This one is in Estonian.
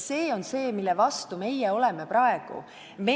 See on see, mille vastu meie praegu oleme.